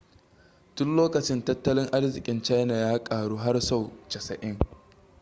tun lokacin tattalin arzikin china ya karu har sau 90